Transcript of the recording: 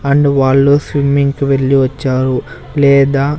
and వాళ్ళు swimming కి వెళ్లి వచ్చారు లేదా--